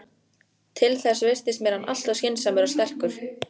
Til þess virtist mér hann alltof skynsamur og sterkur.